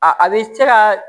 A a bɛ cɛ ka